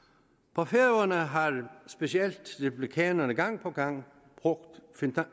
på færøerne har specielt republikanerne gang på gang brugt